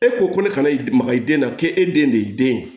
E ko ko ne kana maga i den na k'e den de ye den ye